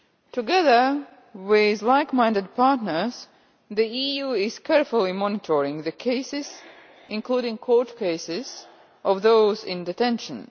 Together with like minded partners, the EU is carefully monitoring the cases including the court cases of those in detention.